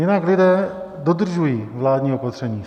Jinak lidé dodržují vládní opatření.